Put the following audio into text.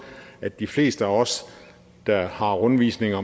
at de fleste af os der har rundvisninger